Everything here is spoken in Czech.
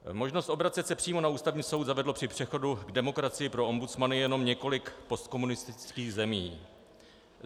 Možnost obracet se přímo na Ústavní soud zavedlo při přechodu k demokracii pro ombudsmany jenom několik postkomunistických zemí.